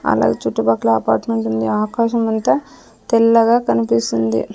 అలాగే చుట్టుపక్కల అపార్మెంట్ ఉంది ఆకాశం అంతా తెల్లగా కనిపిస్తుంది.